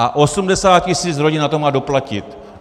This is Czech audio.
A 80 tisíc rodin má na to doplatit.